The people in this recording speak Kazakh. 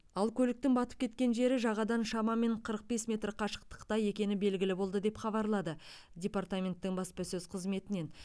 ал көліктің батып кеткен жері жағадан шамамен қырық бес метр қашықтықта екені белгілі болды деп хабарлады департаменттің баспасөз қызметінен